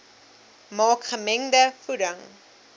maak gemengde voeding